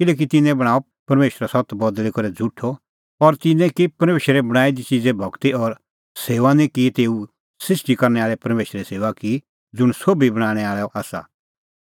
किल्हैकि तिन्नैं बणांअ परमेशरो सत्त बदल़ी करै झ़ुठअ और तिन्नैं की परमेशरे बणांईं दी च़िज़े भगती और सेऊआ नां कि तेऊ सृष्टी करनै आल़ै परमेशरे सेऊआ की ज़ुंण सोभी बणांणैं आल़अ आसा